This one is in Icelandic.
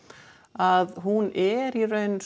að hún er í raun